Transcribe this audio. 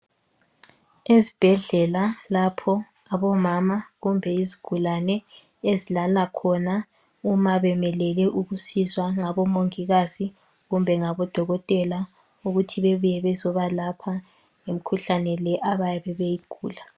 Ezibhedlela lapho abomama kumbe izigulane ezilala khona uma bemelele ukusizwa ngabomongikazi kumbe ngabo Dokotela ukuthi bebuye bezobalapha imikhuhlane le abayabe beyigula.